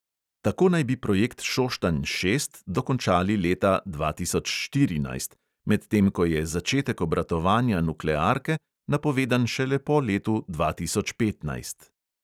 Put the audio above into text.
Tako naj bi projekt šoštanj šest dokončali leta dva tisoč štirinajst, medtem ko je začetek obratovanja nuklearke napovedan šele po letu dva tisoč petnajst.